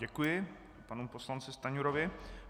Děkuji panu poslanci Stanjurovi.